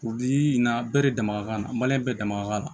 na bɛɛ de dama ka kan na bɛɛ dama ka kan